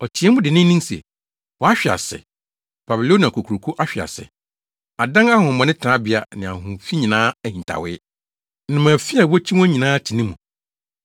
Ɔteɛɛ mu denneennen se, “ ‘Wahwe ase! Babilonia Kokuroko ahwe ase!’ Adan ahonhommɔne tenabea ne ahonhom fi nyinaa ahintawee. Nnomaafi a wokyi wɔn nyinaa te ne mu.